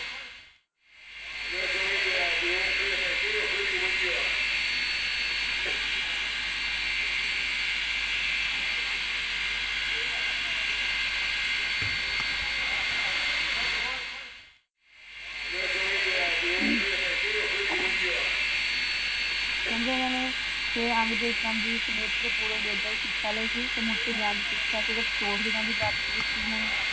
ਕਹਿੰਦੇ ਉੰਨਾ ਨੇ ਸਿਖਿਆ ਲਈ ਸੀ ਗਿਆਨ ਸਿਕਸ਼ਾ ਪ੍ਰਾਪਤ ਕਿੱਤੀ ਸੀ ਉੰਨਾ ਨੇ ।